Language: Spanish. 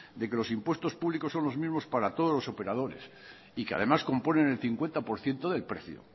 de que los impuestos públicos son los mismos para todos los operadores y que además componen el cincuenta por ciento del precio